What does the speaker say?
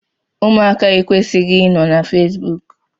Ụmụaka ekwesighi I nọ na Fesbụụk.